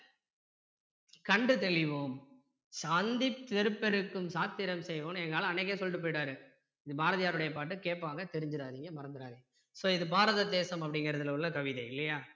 கண்டு தெளிவோம் சந்தி பெருக்கெடுக்கும் சாத்திரம் செய்வோம் எங்க ஆளு அன்னைக்கே சொல்லிட்டு போயிட்டாரு இது பாரதியாருடைய பாட்டு கேட்பாங்க தெரிஞ்சிறாதீங்க மறந்திறாதீங்க இது so பாரத தேசம் அப்படிங்கிறதுல உள்ள கவிதை இல்லையா